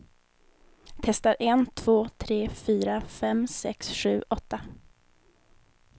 Testar en två tre fyra fem sex sju åtta.